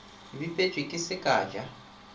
bipetšwe ke se ka ja